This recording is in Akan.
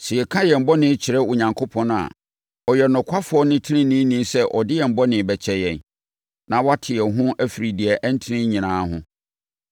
Sɛ yɛka yɛn bɔne kyerɛ Onyankopɔn a, ɔyɛ ɔnokwafoɔ ne ɔteneneeni sɛ ɔde yɛn bɔne bɛkyɛ yɛn, na wate yɛn ho afiri deɛ ɛnte nyinaa ho.